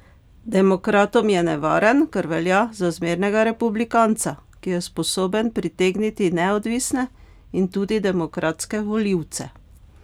Demokratom je nevaren, ker velja za zmernega republikanca, ki je sposoben pritegniti neodvisne in tudi demokratske volivce.